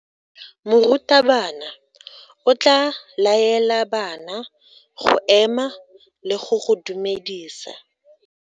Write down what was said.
Morutabana o tla laela bana go ema le go go dumedisa.